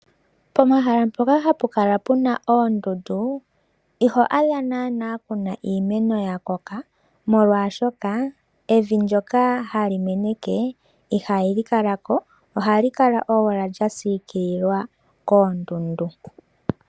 Pomahala mpoka hapukala puna oondundu iho adha naanaa puna iimeno yakoka molwashoka evi ndyoka hali meneke ihali kalako, ohali kala owala lyasiikililwa koondundu.